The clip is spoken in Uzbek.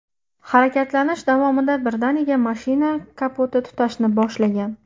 Harakatlanish davomida birdaniga mashina kapoti tutashni boshlagan.